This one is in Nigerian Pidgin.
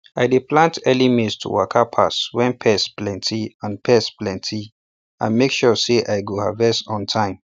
i dey plant early maize to waka pass when pest plenty and pest plenty and make sure say i go harvest on time